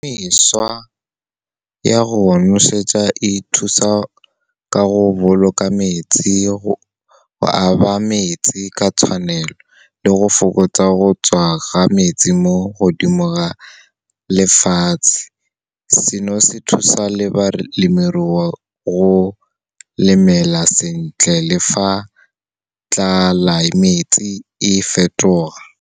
Mešwa ya go nosetsa e thusa ka go boloka metsi , go aba metsi ka tshwanelo le go fokotsa go tswa ga metsi mo godimo ga lefatshe. Seno se thusa le balemirui go lemela sentle le fa tlelaemete e fetoga.